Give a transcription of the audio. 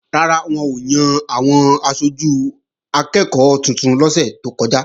Rárá, wọn ò yan àwọn aṣojú akẹ́ẹ̀kọ́ tuntun lọ́sẹ̀ tó kọjá